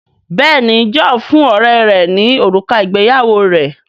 Béèni John fún ọrẹ rè ní òrùka ìgbéyàwó rẹ.